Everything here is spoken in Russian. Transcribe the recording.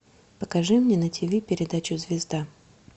покажи мне на тв передачу звезда